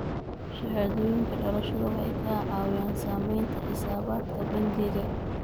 Shahaadooyinka dhalashada waxay ka caawiyaan samaynta xisaabaadka bangiga.